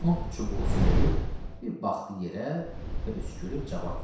Axund çubuğu sümürüb, bir baxdı yerə və öskürüb cavab verdi.